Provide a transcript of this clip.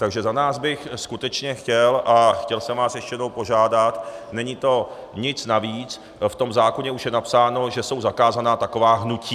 Takže za nás bych skutečně chtěl a chtěl jsem vás ještě jednou požádat, není to nic navíc, v tom zákoně už je napsáno, že jsou zakázaná taková hnutí.